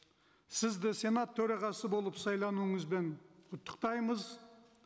сізді сенат төрағасы болып сайлануыңызбен құттықтаймыз